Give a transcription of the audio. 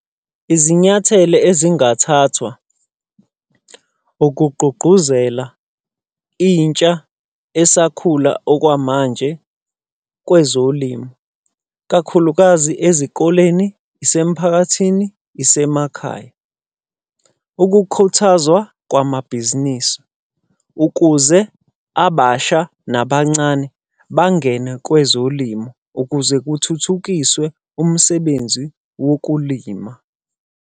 Izinyathele ezingathathwa ukugqugquzela intsha esakhula okwamanje kwezolimo, kakhulukazi ezikoleni, isemphakathini, isemakhaya. Ukukhuthaza kwamabhizinisi ukuze abasha nabancane bangene kwezolimo. Ukuze kuthuthukiswe umsebenzi wokulima.